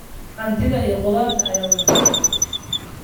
Hantida iyo khudaarta ayaa wanaagsan.